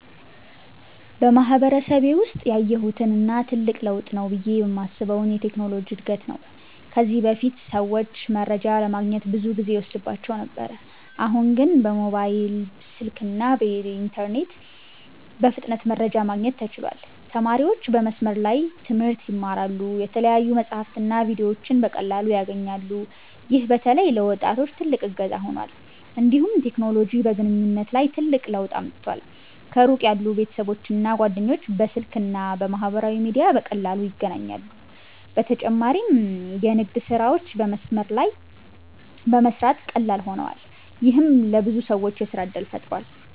በማህበረሰቤ ውስጥ ያየሁት እና ትልቅ ለውጥ ነው ብዬ የማስበው የቴክኖሎጂ እድገት ነው። ከዚህ በፊት ሰዎች መረጃ ለማግኘት ብዙ ጊዜ ይወስድባቸው ነበር፤ አሁን ግን በሞባይል ስልክና በኢንተርኔት በፍጥነት መረጃ ማግኘት ተችሏል። ተማሪዎች በመስመር ላይ ትምህርት ይማራሉ፣ የተለያዩ መጻሕፍትና ቪዲዮዎችንም በቀላሉ ያገኛሉ። ይህ በተለይ ለወጣቶች ትልቅ እገዛ ሆኗል። እንዲሁም ቴክኖሎጂ በግንኙነት ላይ ትልቅ ለውጥ አምጥቷል። ከሩቅ ያሉ ቤተሰቦችና ጓደኞች በስልክ እና በማህበራዊ ሚዲያ በቀላሉ ይገናኛሉ። በተጨማሪም የንግድ ስራዎች በመስመር ላይ በመስራት ቀላል ሆነዋል፣ ይህም ለብዙ ሰዎች የሥራ እድል ፈጥሯል።